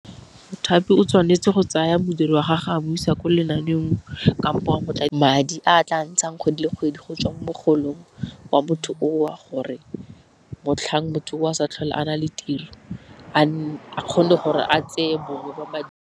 Mothapi o tshwanetse go tsaya modiri wa gagwe a bo isa ko lenaaneng kampo madi a tla ntshang kgwedi le kgwedi, go tswa mogolong wa motho o o gore motlhang motho o o sa tlhole a na le tiro a kgone gore a tseye bongwe .